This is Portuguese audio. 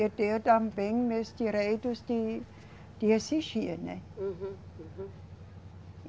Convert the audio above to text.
Eu tenho também meus direitos de, de exigir, né? Uhum, uhum.